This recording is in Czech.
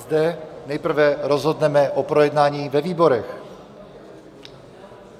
Zde nejprve rozhodneme o projednání ve výborech.